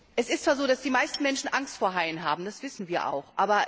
Es ist zwar so, dass die meisten Menschen Angst vor Haien haben, das wissen wir auch.